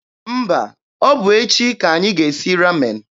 Mba, ọ bụ echi ka anyị ga-esi Ramen.